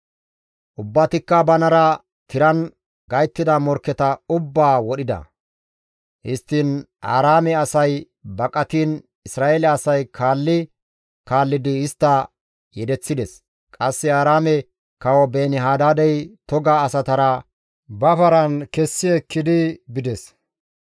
Ubbatikka banara tiran gayttida morkketa ubbaa wodhida. Histtiin Aaraame asay baqatiin Isra7eele asay kaalli kaallidi istta yedeththides. Qasse Aaraame kawo Beeni-Hadaadey toga asatara ba paran kessi ekkidi bides.